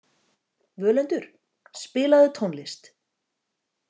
Völundur, spilaðu tónlist.